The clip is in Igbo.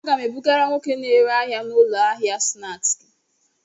A ga m ebugara nwoke na-ere ahịa n'ụlọ ahịa snaaskị.